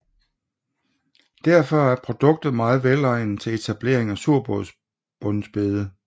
Derfor er produktet meget velegnet til etablering af surbundsbede